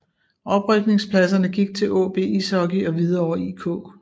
Oprykningpladserne gik til AaB Ishockey og Hvidovre IK